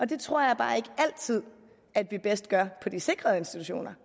det tror jeg bare ikke altid at vi bedst gør på de sikrede institutioner